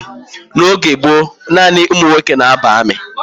N'oge gboo, nanị ụmụ nwoke na ba armi